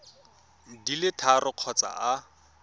di le tharo kgotsa a